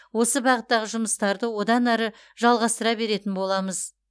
осы бағыттағы жұмыстарды одан әрі жалғастыра беретін боламыз